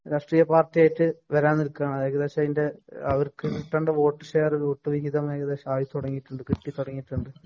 രാഷ്ട്രീയ പാര്‍ട്ടിയായിട്ട് വരന്‍ നില്‍ക്കുകയാണ്. ഏകദേശം അതിന്‍റെ അവര്‍ക്ക് കിട്ടേണ്ട വോട്ട് ഷെയര്‍ ഗ്രൂപ്പ് ഹിതം ഏകദേശം ആയി തുടങ്ങിടുണ്ട്. കിട്ടി തുടങ്ങിയിട്ടുണ്ട്.